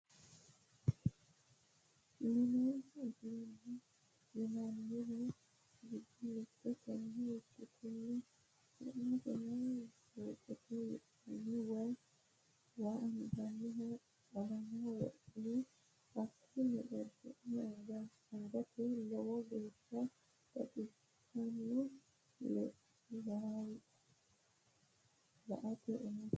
Mini uduune yinanniri giddo mite tene ikkittano su'maseno jokkete yinanni waa anganiha xalala wodhine hakkini xorshi'nanni angannite lowo geeshsha baxisano la"ate umosi.